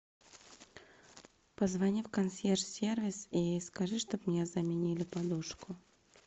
позвони в консьерж сервис и скажи чтобы мне заменили подушку